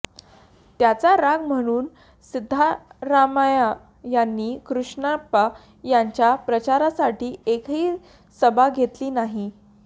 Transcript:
त्याचा राग म्हणून सिध्दरामय्या यांनी कृष्णप्पा यांच्या प्रचारासाठी एकही सभा घेतली नाही